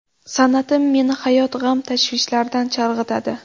San’atim meni hayot g‘am tashvishlaridan chalg‘itadi.